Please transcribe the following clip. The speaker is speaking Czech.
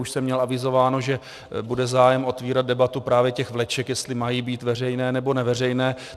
Už jsem měl avizováno, že bude zájem otvírat debatu právě těch vleček, jestli mají být veřejné, nebo neveřejné.